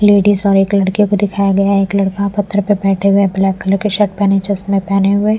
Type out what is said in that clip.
ladies और एक लड़के को दिखाया गया है एक लड़का पत्थर पर बैठे हुए ब्लैक कलर के शर्ट पहने चसमे पहने हुए--